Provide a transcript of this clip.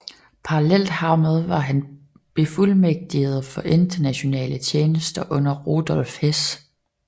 Parallelt hermed var han befuldmægtiget for internationale tjenester under Rudolf Hess